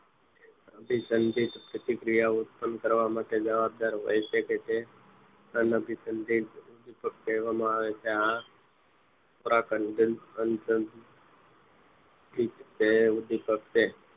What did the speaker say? અભીસંગીત પ્રતિક્રિયા ઓ પસંદ કરવા માટે જવાબદાર હોય છે કે જે અન અભીસંગીત કહેવામાં આવે છે આ ખોરાક અંજન તે ઉદીપક તે છે